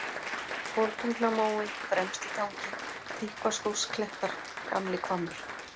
Koltungnamói, Fremstitangi, Þykkvaskógsklettar, Gamlihvammur